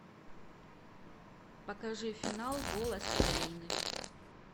покажи финал голос украины